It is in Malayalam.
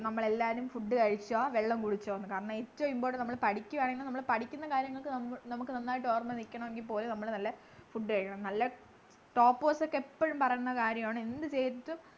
നമ്മളെല്ലാരും food കഴിച്ചോ വെള്ളം കുടിച്ചോ ന്നു കാരണം ഏറ്റവും important നമ്മള് പഠിക്കു ആണെങ്കില് നമ്മള് പഠിക്കുന്ന കാര്യങ്ങൾക്ക് നമ്മക്ക് നന്നായിട്ട് ഓർമ നിക്കണെങ്കിൽ പോലും നമ്മള് നല്ല food കഴിക്കണം നല്ല toppers ഒക്കെ എപ്പോഴും പറയുന്ന കാര്യമാണ് എന്ത് ചെയ്തിട്ടും